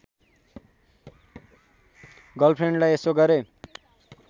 गर्लफ्रेन्डलाई यसो गरेँ